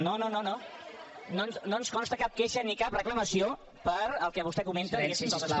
no no no no ens consta cap queixa ni cap reclamació pel que vostè comenta diguéssim